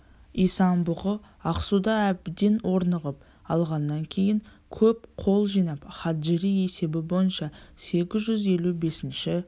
исан-бұғы ақсуда әбден орнығып алғаннан кейін көп қол жинап хаджири есебі бойынша сегіз жүз елу бесінші